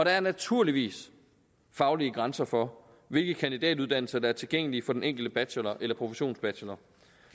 er naturligvis faglige grænser for hvilke kandidatuddannelser der er tilgængelig for den enkelte bachelor eller professionsbachelor